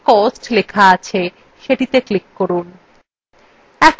যে cellএ cost লিখিত আছে সেটিতে click করুন